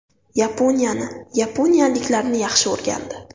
Yaponiyani, yaponiyaliklarni yaxshi o‘rgandi.